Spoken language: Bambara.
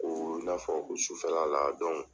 O wula fɛ fɔ sufɛla la